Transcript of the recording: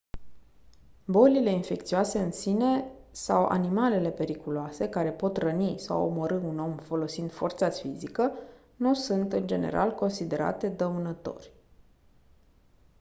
bolile infecțioase în sine sau animalele periculoase care pot răni sau omorî un om folosind forța fizică nu sunt în general considerate dăunători